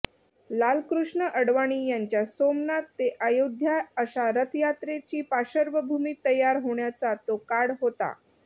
लालकृष्ण आडवाणी यांच्या सोमनाथ ते आयोध्या अशा रथयात्रेची पार्श्वभूमी तयार होण्याचा तो काळ होता